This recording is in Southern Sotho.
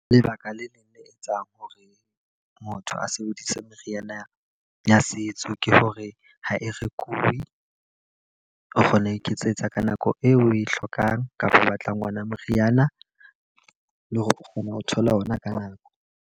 Lebaka le leng le etsang hore motho a sebedise meriana ya setso, ke hore ha e rekuwe. O kgona ho iketsetsa ka nako eo o e hlokang kapa o batlang ona moriana. Le hore o kgona ho thola ona ka nako.